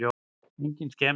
Engin skemmd á úthöfunum.